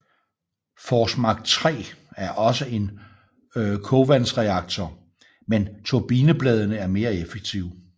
Forsmark 3 er også en kogvandsreaktor men turbinebladene er mere effektive